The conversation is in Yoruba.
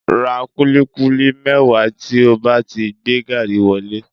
Ra kúlíkúlí mẹ́wàá tí ó bá ti gbé gaàrí wọlé